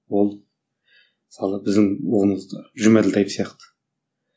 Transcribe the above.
ол мысалы біздің ұғымымызда жұмаділдаев сияқты